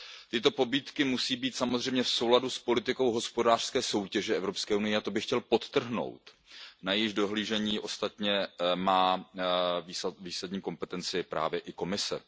Tyto pobídky musí být samozřejmě v souladu s politikou hospodářské soutěže Evropské unie, a to bych chtěl podtrhnout, přičemž na dohlížení na tuto politiku má ostatně výsadní kompetenci právě i Komise.